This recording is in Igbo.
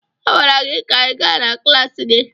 A gwara gị ka ị gaa na klaasị gị!